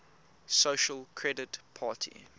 social credit party